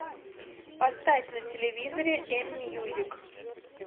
поставь на телевизоре м мьюзик